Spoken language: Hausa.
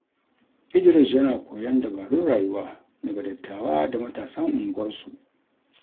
Idris yana koyon dabarun rayuwa daga dattawa da matasan unguwarsu.